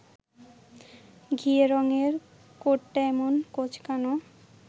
ঘিয়ে রঙের কোটটা এমন কোঁচকানো